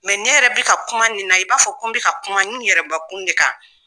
ne yɛrɛ be ka kuma nin na ,i b'a fɔ ko n be ka kuma n yɛrɛbakun de kan.